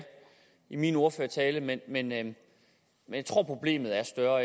i min ordførertale men men jeg tror at problemet er større